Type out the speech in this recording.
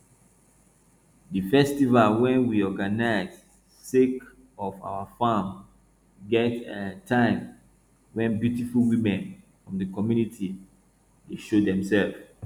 di festival wey we um organize sake of our farm get um time wen beautiful women from di community dey show demsef